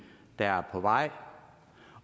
der er på vej